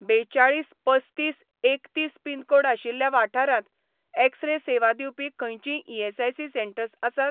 बेचाळीस पस्तीस एकतीस पिनकोड आशिल्ल्या वाठारांत, एक्स रे सेवा दिवपी खंयचींय ईएसआयसी सेटंर्स आसात?